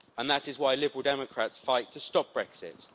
That is why Liberal Democrats fight to stop Brexit.